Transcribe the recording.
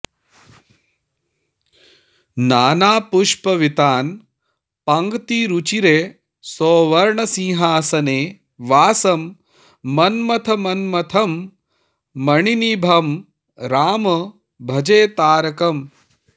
नानापुष्पवितान पङ्क्तिरुचिरे सौवर्णसिंहासने वासं मन्मथमन्मथं मणिनिभं राम भजे तारकम्